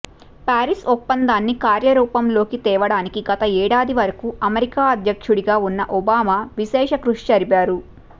Paris ఒప్పందాన్ని కార్యరూపంలోకి తేవటానికి గత ఏడాది వరకూ అమెరికా అధ్యక్షుడిగా ఉన్న ఒబామా విశేష కృషి జరిపారు